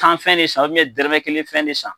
Tan fɛn de san ubiyɛnye dɛrɛmɛ kelen fɛn de san